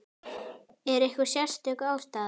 Er einhver sérstök ástæða?